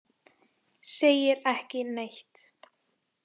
Segir ekki neitt.